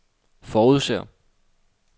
forudser